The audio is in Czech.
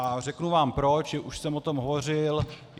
A řeknu vám proč, už jsem o tom hovořil.